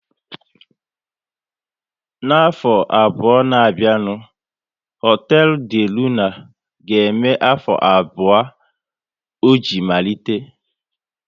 N'afọ abụọ na bịa nụ, hotelu De Luna ga eme afọ abụọ o ji malite